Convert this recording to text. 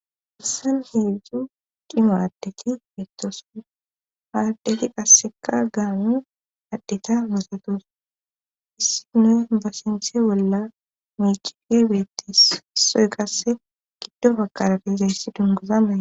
Issan hiidzdzu dhimaraddeti beettoson maaddeti qasseka gaamun addeta basatos issi noe ba sinthe bolla micife beettissoy qasse giddo fakarapezayssi dunguza mae.